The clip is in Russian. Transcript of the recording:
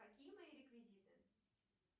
какие мои реквизиты